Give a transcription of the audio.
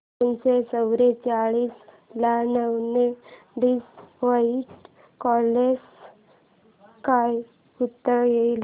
दोनशे चौवेचाळीस ला नऊ ने डिवाईड केल्यास काय उत्तर येईल